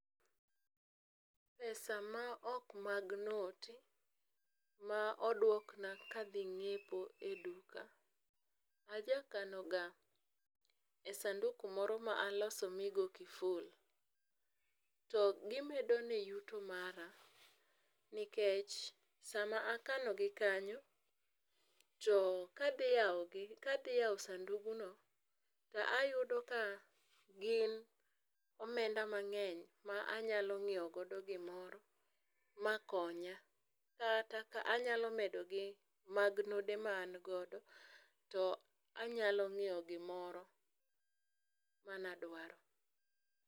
Pesa ma ok mag not ,ma oduokna ka adhi ng'iepo eduka, aja kanoga e sanduku moro ma aloso migoo kiful. To gimedone yuto mara, nikech sama akanogi kanyo, to kadhi yawogi ,kadhi yawo sandugno to ayudo ka gin omenda mang'eny ma anyalo ng'iewo godo gimoro makonya. Kata ka anyalo medo gi mag node ma an godo to anyalo ng'iewo gimoro manadwaro.